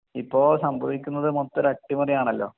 ഇപ്പൊ സംഭവിക്കുന്നത് മൊത്തം ഒരു അട്ടിമറി ആണലോ